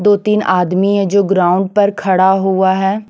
दो तीन आदमी है जो ग्राउंड पर खड़ा हुआ है।